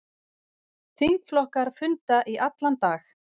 Þingflokkar funda í allan dag